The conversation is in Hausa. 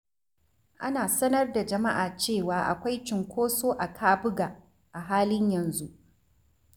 Ana sanar da jama'a cewa akwai cunkoso a kabuga a halin yanzu.